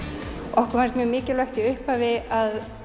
okkur fannst mjög mikilvægt í upphafi að